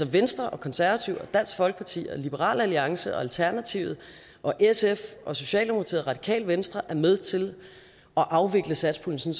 venstre og konservative og dansk folkeparti og liberal alliance og alternativet og sf og socialdemokratiet og radikale venstre er med til at afvikle satspuljen